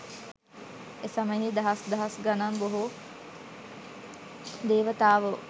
එසමයෙහි දහස් දහස් ගණන් බොහෝ දේවතාවෝ